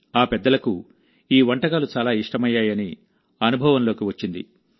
ఆ పెద్దలకు ఈ వంటకాలు చాలా ఇష్టమయ్యాయని అనుభవంలోకి వచ్చింది